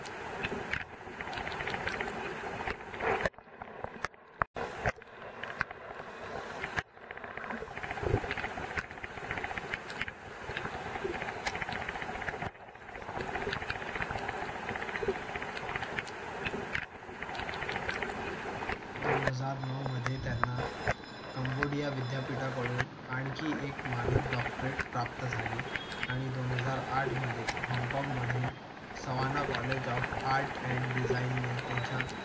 दोन हजार नऊमध्ये त्यांना कंबोडिया विद्यापीठाकडून आणखी एक मानद डॉक्टरेट प्राप्त झाली आणि दोन हजार आठ मध्ये होनकोंगमधून Savannah college of art and डिझाईनने त्यांच्या